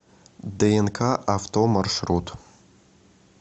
днк авто маршрут